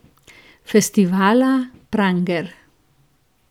Festivala Pranger.